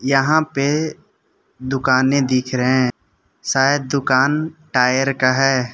यहां पे दुकाने दिख रहे है शायद दुकान टायर का है।